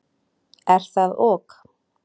Er það ok?